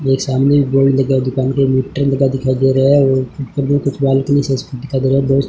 ये सामने बोर्ड लगा हुआ दुकान पे मीटर लगा दिखाई दे रहा है और मुझे कुछ बालकनी से इसपे दिखाई दे रहा है दोस--